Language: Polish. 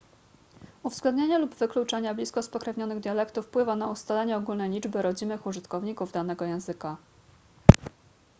uwzględnienie lub wykluczenie blisko spokrewnionych dialektów wpływa na ustalenie ogólnej liczby rodzimych użytkowników danego języka